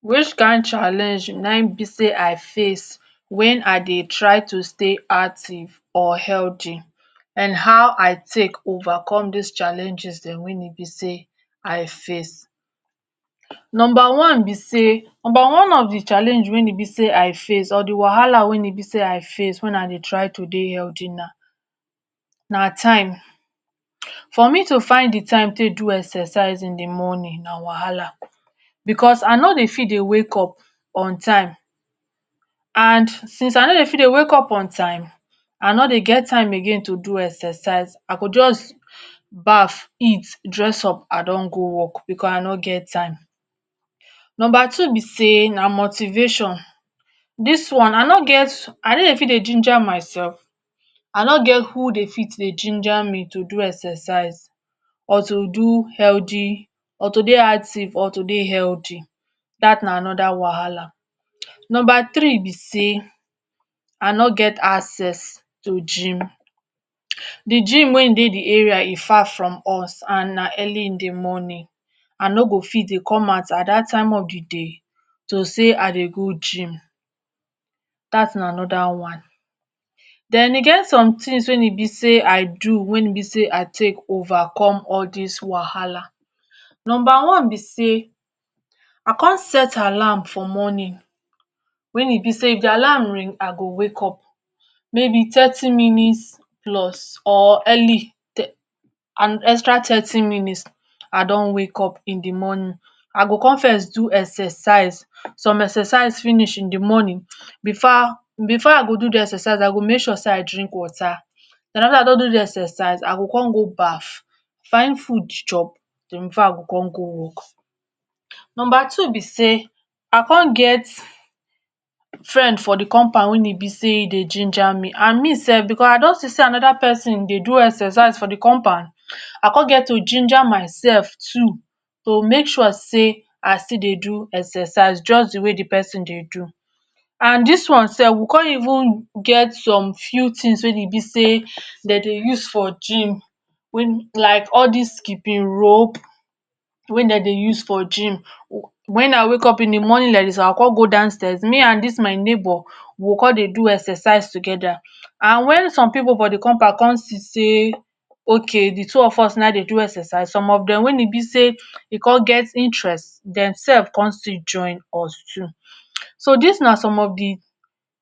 Which kind challenge wey be sey I face when I dey try to stay active and healthy and how I take overcome dis challenges wey e be sey I face. Number one be sey, number of the challenge wey be sey I face for de wahala we be sey I face to try to dey healthy na time for me to find de time to do exercise in de morning na wahala because I nor dey fit dey wake up on time and since I nor dey fit wake up on time I nor dey get time again to do exercise I go just baff eat dress up I don go work because I nor get time. Number two be sey na motivation dis one I nor, I nor dey fit ginger myself I nor get who dey fit dey ginger me to do exercise or to healthy or to dey active or to dey healthy dat na another wahala. Number three be sey I nor get access to gym, de gym wey dey de area e far from us and na early in de morning I nor go fit dey come out at dat time of de day to sey I dey go gym dat na another one then I get some things when I be sey I do wey be sey I take overcome al dis wahala number one be sey I come set alarm for morning when e be sey if de alarm ring I go wake up maybe thirty minus plus or early um or and extra thirty minus I don wake up in de morning I go come first do exercise so some exercise finish in de morning before, before I do de exercise I go make sure sey I drink water and after I don de exercise I go come go baff find food chop then before I go come go work number two be sey I come get friend for de compound wey be e de ginger me me self because I don e get another person wey dey do exercise for de compound I come get to ginger myself to, to make sure sey I still dey do exercise just dey way de person dey do and dis one self we come even get some few things wey e be sey dem dey use for gym when, like all dis skipping rope wey dem dey use for gym when I wake in de morning like dis I go come go downstairs me and dis my neigbour we go come dey do exercise together and when some pipu for de compound come see sey ok, de two of us na e dey exercise some of dem when e be sey e come get interest dem self come still join us too. So dis na some of de